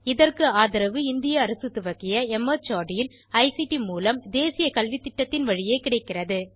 இதற்கு ஆதரவு இந்திய அரசு துவக்கிய மார்ட் இன் ஐசிடி மூலம் தேசிய கல்வித்திட்டத்தின் வழியே கிடைக்கிறது